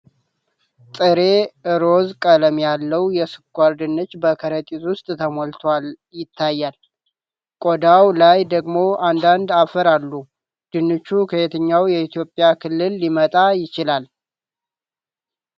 ጥሬ፣ ሮዝ ቀለም ያለው የስኳር ድንች በከረጢት ውስጥ ተሞልቶ ይታያል፣ ቆዳው ላይ ደግሞ አንዳንድ አፈር አሉ። ድንቹ ከየትኛው የኢትዮጵያ ክልል ሊመጣ ይችላል?